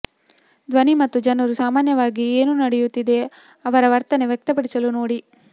ಧ್ವನಿ ಮತ್ತು ಜನರು ಸಾಮಾನ್ಯವಾಗಿ ಏನು ನಡೆಯುತ್ತಿದೆ ಅವರ ವರ್ತನೆ ವ್ಯಕ್ತಪಡಿಸಲು ನೋಡಿ